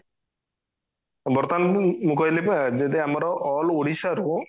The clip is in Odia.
ବର୍ତମାନ ଉ ମୁଁ କହିଲି ପା ଯଦି ଆମର all ଓଡିଶା ରୁ